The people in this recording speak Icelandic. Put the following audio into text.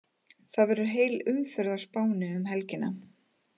Það verður heil umferð á Spáni um helgina.